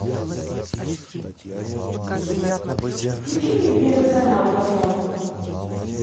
включи мне первый канал пожалуйста